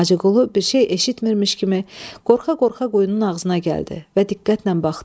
Hacıqulu bir şey eşitmirmiş kimi qorxa-qorxa quyunun ağzına gəldi və diqqətlə baxdı.